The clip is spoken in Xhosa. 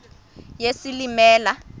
yesilimela